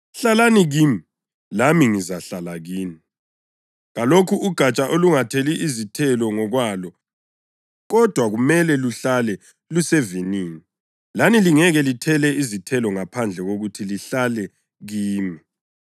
Hlalani kimi, lami ngizahlala kini. Kalukho ugatsha olungathela izithelo ngokwalo kodwa kumele luhlale lusevinini. Lani lingeke lithele izithelo ngaphandle kokuthi lihlale kimi.